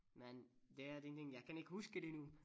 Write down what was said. Men det er den ting jeg kan ikke huske det nu